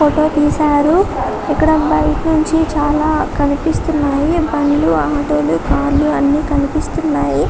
Photo తిసారు ఇక్కడ బైట్నుంచీ చాలా కనిపిస్తున్నాయి బండ్లు ఆటోలు కార్లు అన్నీ కనిపిస్తున్నాయి.